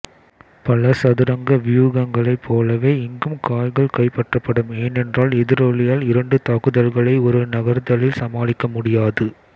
பல சதுரங்க வியூகங்களைப் போலவே இங்கும் காய்கள் கைப்பற்றப்படும் ஏனென்றால் எதிராளியால் இரண்டு தாக்குதல்களை ஒரு நகர்த்தலில் சமாளிக்க முடியாது